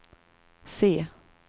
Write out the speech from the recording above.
se